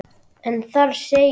en þar segir